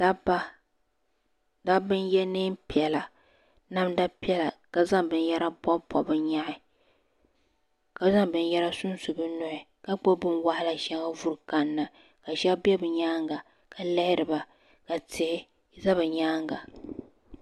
Dabba dabba n ye niɛn piɛlla namda piɛlla ka zaŋ binyara pɔpi pɔpi bi nyehi ka zaŋ binyara sun su bi nuhi ka gbubi bin waɣila sheŋa vuri kan na ka shaba bɛ bi nyaanga ka lihiri ba ka tihi za bi nyaanga.